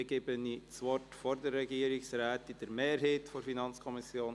– Dann gebe ich vor der Regierungsrätin Grossrätin Stucki das Wort für die FiKo-Mehrheit.